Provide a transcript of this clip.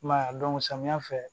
I m'a ye samiya fɛ